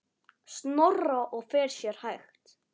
Snorra og fer sér hægt.